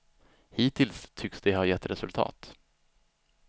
Hittills tycks det ha gett resultat.